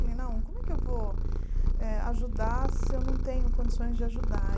Falei, como é que eu vou eh ajudar se eu não tenho condições de ajudar?